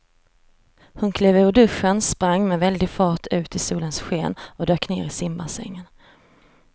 Hon klev ur duschen, sprang med väldig fart ut i solens sken och dök ner i simbassängen.